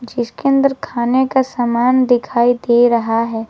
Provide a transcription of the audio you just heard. जिसके अंदर खाने का सामान दिखाई दे रहा है।